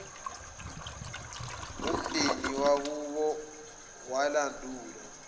omndeni wakubo walandula